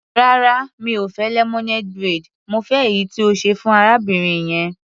Rárá, mi ò fẹ́ lemonade braid, mo fẹ́ èyí tí o ṣe fún arábìnrin yẹn.